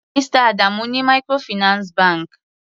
Mr Adamu ní microfinance bank.